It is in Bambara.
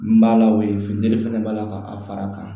N b'a la o ye funtɛnni fana b'a la ka fara a kan